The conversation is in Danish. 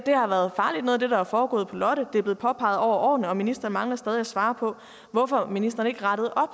har foregået på lotte har det er blevet påpeget over årene og ministeren mangler stadig at svare på hvorfor ministeren ikke rettede op